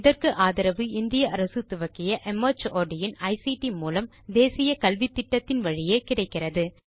இதற்கு ஆதரவு இந்திய அரசு துவக்கிய மார்ட் இன் ஐசிடி மூலம் தேசிய கல்வித்திட்டத்தின் வழியே கிடைக்கிறது